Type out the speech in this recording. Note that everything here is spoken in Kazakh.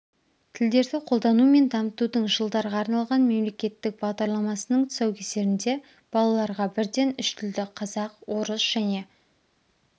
тілдерді қолдану мен дамытудың жылдарға арналған мемлекеттік бағдарламасының тұсаукесерінде балаларға бірден үш тілді қазақ орыс және